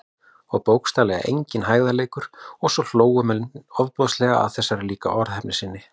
Og bókstaflega enginn hægðarleikur- og svo hlógu menn ofboðslega að þessari líka orðheppni sinni.